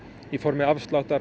í formi afslátta